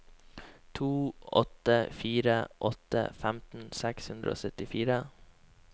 to åtte fire åtte femten seks hundre og syttifire